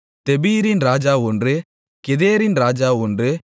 தெபீரின் ராஜா ஒன்று கெதேரின் ராஜா ஒன்று